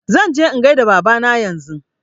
Zan je in gaida Baba na yanzu